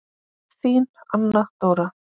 Þín Anna Dóra.